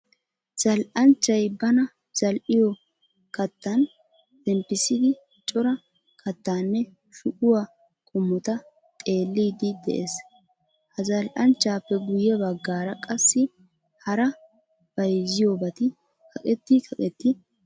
Zal"anchchay bana zal"iyo kattan zemppissidi cora kattaanne shuquwa qommota xeelliiddi de'es. Ha zal"anchchappe guyye baggaara qassi hara bayizziyobati kaqqetti kaqqetti uttidosona.